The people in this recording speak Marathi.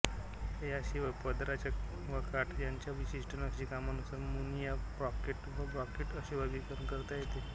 याशिवाय पदराच्या व काठ यांच्या विशिष्ठ नक्षीकामानुसार मुनिया ब्रॉकेट व ब्रॉकेट असे वर्गीकरण करता येते